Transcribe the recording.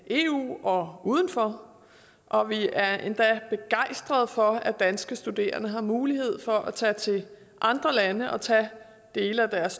eu og uden for og vi er endda begejstrede for at danske studerende har mulighed for at tage til andre lande og tage dele af deres